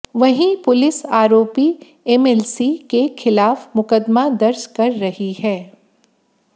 वहीं पुलिस आरोपी एमएलसी के खिलाफ मुकदमा दर्ज कर रही है